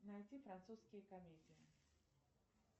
найти французские комедии